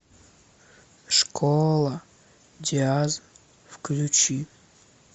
школа диаз включи